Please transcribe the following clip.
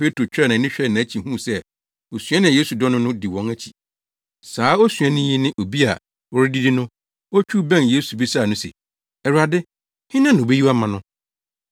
Petro twaa nʼani hwɛɛ nʼakyi huu sɛ osuani a Yesu dɔ no no di wɔn akyi. Saa osuani yi ne obi a wɔredidi no, otwiw bɛn Yesu bisaa no se, “Awurade, hena na obeyi wo ama?” no.